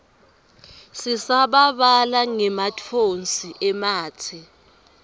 sisabalala ngematfonsi ematse